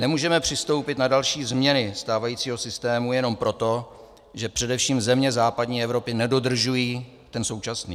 Nemůžeme přistoupit na další změny stávajícího systému jenom proto, že především země západní Evropy nedodržují ten současný.